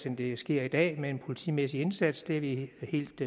end det sker i dag med en politimæssig indsats det er vi helt